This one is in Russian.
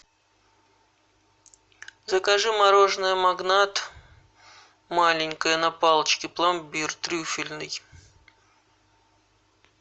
закажи мороженое магнат маленькое на палочке пломбир трюфельный